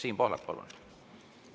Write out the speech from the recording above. Siim Pohlak, palun!